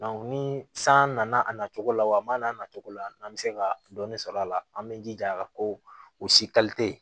ni san nana a nacogo la wa a man n'a natogo la n'an bɛ se ka dɔɔnin sɔrɔ a la an bɛ jija ko u si